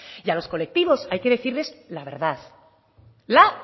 y a los colectivos hay que decirles la verdad la